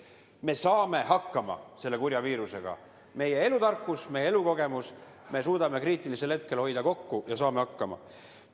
Me saame hakkama selle kurja viirusega, meil on meie elutarkus, meie elukogemus, me suudame kriitilisel hetkel hoida kokku ja saame hakkama.